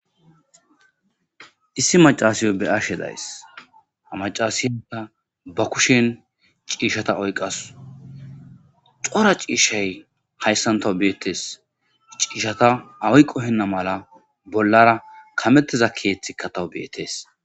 issi macaasiyo be ashe days ha macasida ba kushen ciishata oyqas xora ciishay hayssantawu beettees ciishata ayqohenna mala bollara kametteza keeththi katawu beettees